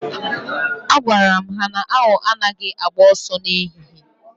Agwaram ha na 'Awọ anaghị agba ọsọ na ehihie'